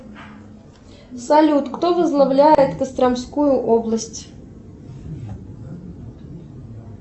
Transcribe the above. салют кто возглавляет костромскую область